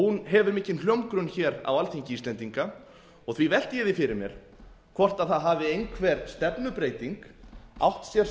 hefur mikinn hljómgrunn á alþingi íslendinga og því velti ég því fyrir mér hvort það hafi einhver stefnubreyting átt sér